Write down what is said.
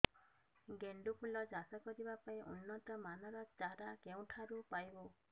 ଗେଣ୍ଡୁ ଫୁଲ ଚାଷ କରିବା ପାଇଁ ଉନ୍ନତ ମାନର ଚାରା କେଉଁଠାରୁ ପାଇବୁ